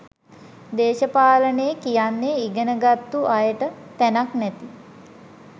දේශපාලනේ කියන්නෙ ඉගෙන ගත්තු අයට තැනක් නැති